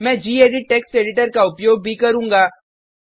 मैं gedit text editor का उपयोग भी करुँगा